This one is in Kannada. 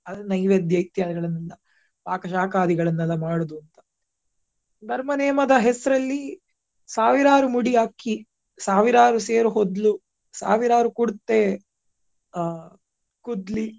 ನೈವೇದ್ಯ ಇತ್ಯಾದಿಗಳನ್ನ ಪಾಕ ಶಾಕದಿಗಳನ್ನೆಲ್ಲ ಮಾಡುದುಂತಾ ಧರ್ಮ ನೇಮ ದ ಹೆಸ್ರಲ್ಲಿ ಸಾವಿರಾರು ಮುಡಿ ಅಕ್ಕಿ ಸಾವಿರಾರು ಸೇರು ಹೊದ್ಲು ಸಾವಿರಾರು ಕುರ್ತೆ ಆ .